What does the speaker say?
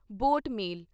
boat ਮੇਲ